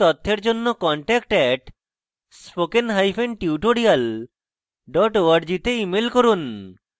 বিস্তারিত তথ্যের জন্য contact @spokentutorial org তে ইমেল করুন